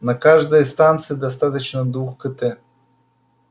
на каждой станции достаточно двух кт